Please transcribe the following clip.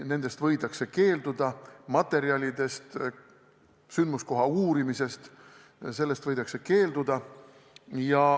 Nendest võidakse keelduda, st materjalide esitamisest ja sündmuskoha uurimisest võidakse keelduda.